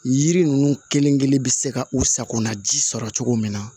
Yiri ninnu kelen kelen bɛ se ka u sakona ji sɔrɔ cogo min na